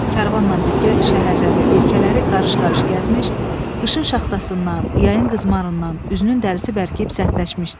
Karvanla birgə şəhərləri, ölkələri qarış-qarış gəzmiş, qışın şaxtasından, yayın qızmarından üzünün dərisi bərkiyib sərtləşmişdi.